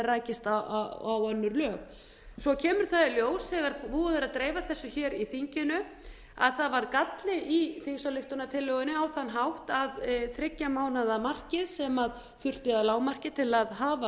rækist á önnur lög svo kemur það í ljós þegar búið er að dreifa þessu hér í þinginu að það var galli í þingsályktunartillögunni á þann hátt að þriggja mánaða markið sem þurfti að lágmarki til að